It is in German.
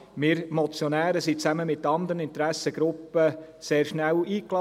Wir Motionäre wurden zusammen mit anderen Interessengruppen sehr schnell eingeladen.